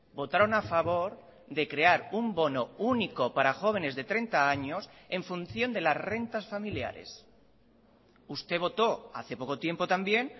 votaron a favor de crear un bono único para jóvenes de treinta años en función de las rentas familiares usted votó hace poco tiempo también